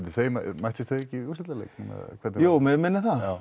mættust þau ekki í úrslitaleik jú mig minnir það